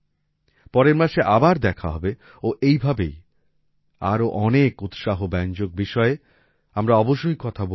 পরের মাসে আবার দেখা হবে ও এই ভাবেই আরো অনেক উৎসাহব্যঞ্জক বিষয়ে আমরা অবশ্যই কথা বলব